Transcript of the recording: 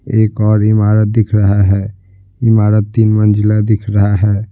एक और इमारत दिख रहा है इमारत तीन मंजिला दिख रहा है।